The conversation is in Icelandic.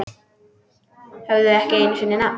Höfðu ekki einu sinni nafn.